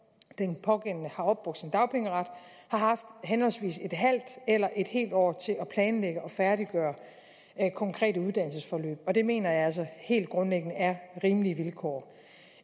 den pågældende har opbrugt sin dagpengeret har haft henholdsvis et halvt eller et helt år til at planlægge og færdiggøre konkrete uddannelsesforløb og det mener jeg altså helt grundlæggende er rimelige vilkår